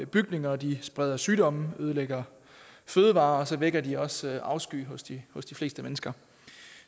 bygninger de spreder sygdomme de ødelægger fødevarer og så vækker de også afsky hos de hos de fleste mennesker